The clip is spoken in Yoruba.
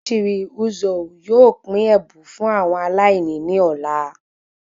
Ochiri Ozuo yóò pín ẹbùn fún àwọn aláìní ní ọ̀la